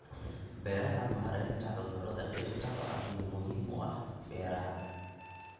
Beeraha Maareynta cudurrada dhirta waa arrin muhiim u ah beeraha.